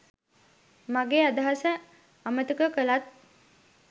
මගේ අදහස අමතක කළත්